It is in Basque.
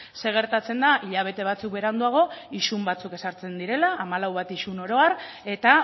zer gertatzen da hilabete batzuk beranduago isun batzuk ezartzen direla hamalau bat isun oro har eta